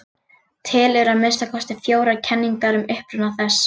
Til eru að minnsta kosti fjórar kenningar um uppruna þess.